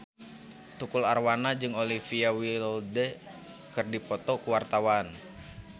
Tukul Arwana jeung Olivia Wilde keur dipoto ku wartawan